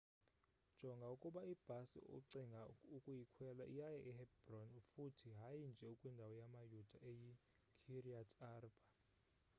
jonga ukuba ibhasi ocinga ukuyikhwela iyaya e-hebron futhi hayi nje kwindawo yamayuda eyi-kiryat arba